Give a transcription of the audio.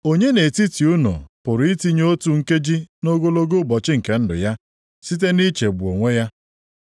Onye nʼetiti unu pụrụ itinye otu nkeji nʼogologo ụbọchị nke ndụ + 6:27 Maọbụ, otu kubit nʼogologo ya ya site nʼichegbu onwe ya?